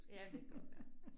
Ja, men det godt være